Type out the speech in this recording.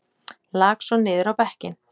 Lak svo niður á bekkinn.